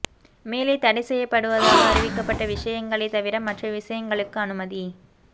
மேலே தடை செய்யப்படுவதாக அறிவிக்கப்பட்ட விஷயங்களை தவிர மற்ற விஷ்யங்களுக்கு அனுமதி